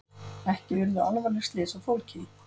Ekki urðu alvarleg slys á fólki